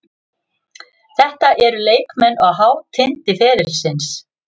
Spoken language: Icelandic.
Þetta eru leikmenn á hátindi ferilsins.